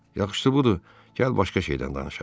Yaxşısı budur, gəl başqa şeydən danışaq.